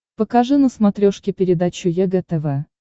покажи на смотрешке передачу егэ тв